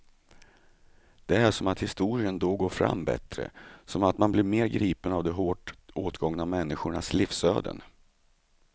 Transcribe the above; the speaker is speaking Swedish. Det är som att historien då går fram bättre, som att man blir mer gripen av de hårt åtgångna människornas livsöden.